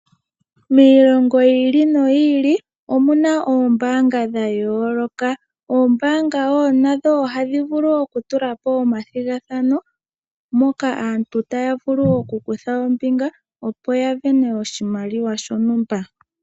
Miilongo yi ili noyi ili omuna oombaanga dha yooloka. Oombaanga nadho ohadhi vulu oku tula po omathigathano, moka aantu taya vulu oku kutha ombinga opo ya sindane oshimaliwa shontumba.